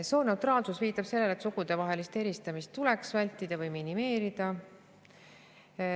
Sooneutraalsus viitab sellele, et sugudevahelist eristamist tuleks vältida või minimeerida.